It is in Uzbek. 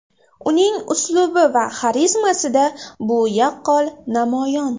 Uning uslubi va xarizmasida bu yaqqol namoyon.